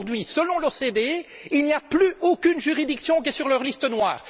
Aujourd'hui, selon l'OCDE, il n'y a plus aucune juridiction sur leur liste noire.